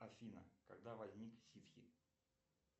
афина когда возник ситхи